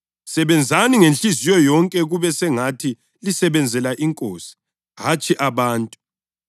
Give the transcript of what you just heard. Sebenzani ngenhliziyo yonke kube sengathi lisebenzela iNkosi hatshi abantu